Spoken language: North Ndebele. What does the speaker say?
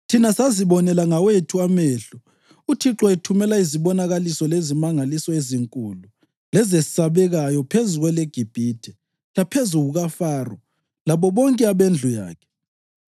Thina sazibonela ngawethu amehlo uThixo ethumela izibonakaliso lezimangaliso ezinkulu lezesabekayo phezu kweleGibhithe laphezu kukaFaro labo bonke abendlu yakhe.